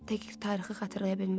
Dəqiq tarixi xatırlaya bilmirəm.